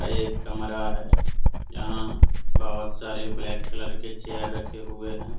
एक कमरा है यहाँ बहुत सारे ब्लैक कलर के चेयर रखे हुए है।